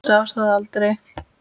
Sá það aldrei